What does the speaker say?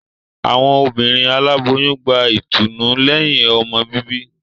Awọn obìnrin Aláboyún gbà ìtùnú lẹhin ọmọ bíbí